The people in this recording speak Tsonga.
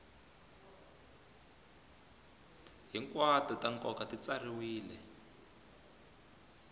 hinkwato ta nkoka ti tsariwile